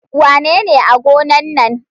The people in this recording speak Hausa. Wanene a gona nan?